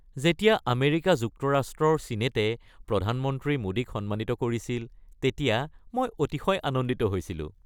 যেতিয়া আমেৰিকা যুক্তৰাষ্ট্ৰৰ ছিনেটে প্ৰধানমন্ত্ৰী মোডীক সন্মানিত কৰিছিল তেতিয়া মই অতিশয় আনন্দিত হৈছিলোঁ।